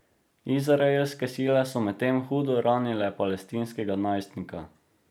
Izraelske sile so medtem hudo ranile palestinskega najstnika.